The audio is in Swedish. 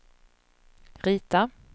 rita